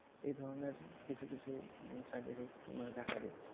এ ধরনের কিছু কিছু side effect মানে দেখা দিচ্ছে